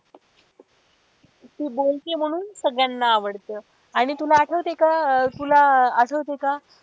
ती बोलतीये म्हणून सगळ्यांना आवडत आणि तुला आठवते का तुला आठवते का?